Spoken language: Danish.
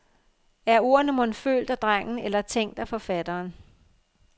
Er ordene mon følt af drengen eller tænkt af forfatteren?